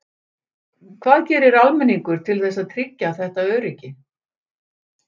Hvað gerir almenningur til þess að tryggja þetta öryggi?